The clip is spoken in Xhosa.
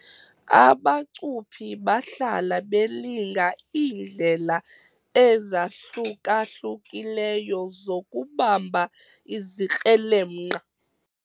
Abacuphi bahlala belinga iindlela ezahluka-hlukileyo zokubamba izikrelemnqa.